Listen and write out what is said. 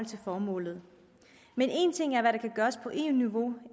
til formålet men en ting er hvad der kan gøres på eu niveau